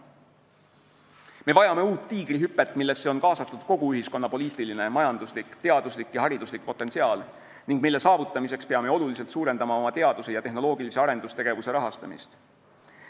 Me vajame uut Tiigrihüpet, millesse on kaasatud kogu ühiskonna poliitiline, majanduslik, teaduslik ja hariduslik potentsiaal ning mille saavutamiseks peame oluliselt suurendama oma teaduse ja tehnoloogilise arendustegevuse rahastamist.